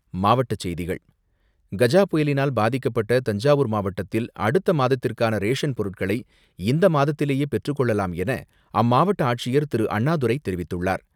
மாவட்டச் செய்திகள் கஜா புயலினால் பாதிக்கப்பட்ட தஞ்சாவூர் மாவட்டத்தில் அடுத்த மாதத்திற்கான ரேஷன் பொருட்களை இந்த மாதத்திலேயே பெற்றுக்கொள்ளலாம் என அம்மாவட்ட ஆட்சியர் திரு அண்ணாதுரை தெரிவித்துள்ளார்.